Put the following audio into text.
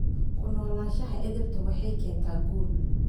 Ku noolaanshaha edaabta waxay keentaa guul.